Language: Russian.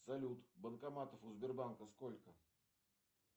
салют банкоматов у сбербанка сколько